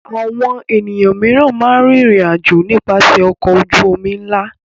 Àwọn ènìyàn mìíràn máa ń rìnrìn-àjò nípasẹ̀ ọkọ̀ ojú-omi ńlá.